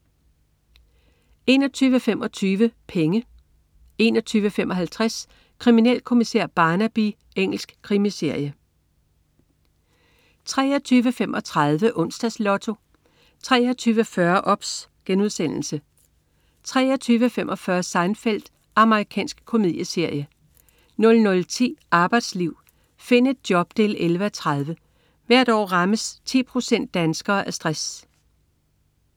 21.25 Penge 21.55 Kriminalkommissær Barnaby. Engelsk krimiserie 23.35 Onsdags Lotto 23.40 OBS* 23.45 Seinfeld. Amerikansk komedieserie 00.10 Arbejdsliv. Find et job 11:30. Hvert år rammes 10 procent danskere af stress